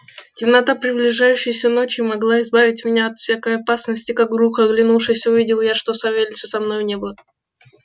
темнота приближающейся ночи могла избавить меня от всякой опасности как вдруг оглянувшись увидел я что савельича со мною не было